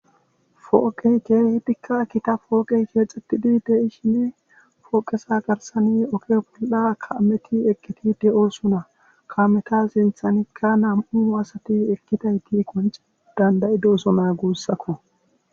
Pooqey keehidika Gita pooqey betesi,